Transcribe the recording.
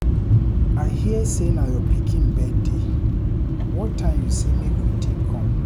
I hear say na your pikin birthday, what time you say make we take come?